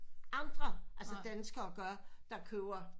Andre altså dansker gøre der køber